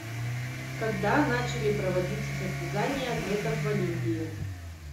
когда начали проводиться состязания атлетов в олимпии